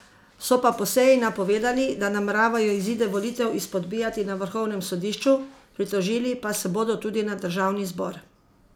So pa po seji napovedali, da nameravajo izide volitev izpodbijati na vrhovnem sodišču, pritožili pa se bodo tudi na državni zbor.